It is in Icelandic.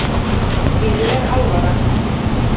Mér er alvara.